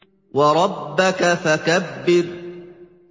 وَرَبَّكَ فَكَبِّرْ